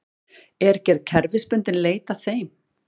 Er gerð kerfisbundinn leit að þeim